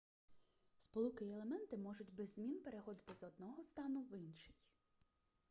сполуки й елементи можуть без змін переходити з одного стану в інший